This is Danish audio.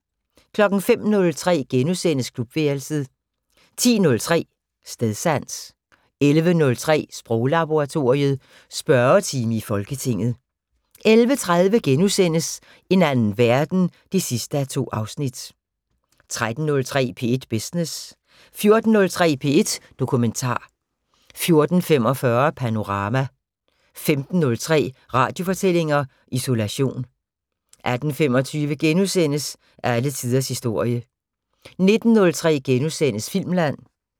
05:03: Klubværelset * 10:03: Stedsans 11:03: Sproglaboratoriet: Spørgetime i Folketinget 11:30: En anden verden 2:2 13:03: P1 Business 14:03: P1 Dokumentar 14:45: Panorama 15:03: Radiofortællinger: Isolation 18:25: Alle tiders historie * 19:03: Filmland *